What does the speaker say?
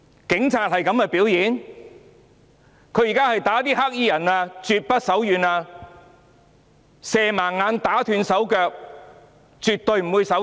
警察毆打黑衣人絕不手軟，射盲他人眼睛，打斷他人手腳也絕不手軟。